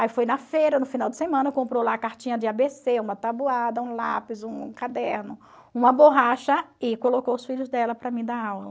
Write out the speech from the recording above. Aí foi na feira, no final de semana, comprou lá a cartinha de a bê cê, uma tabuada, um lápis, um caderno, uma borracha e colocou os filhos dela para mim dar aula.